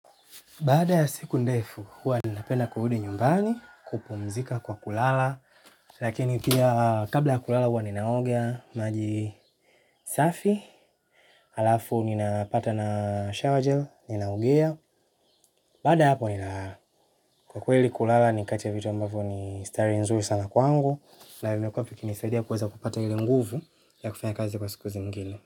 Bada ya siku ndefu, huwa ninapenda kurudi nyumbani, kupumzika kwa kulala, lakini pia kabla ya kulala huwa ninaoga maji safi, alafu ninapata na shower gel, ninaogea, baada ya hapo ninalala, kwa kweli kulala ni kati ya vitu ambavyo ni starehe nzuri sana kwangu, na vime kuwa vikinisaidia kuweza kupata ile nguvu ya kufanya kazi kwa siku zingine.